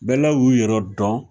Bɛɛlaw y'u yɛrɛ dɔn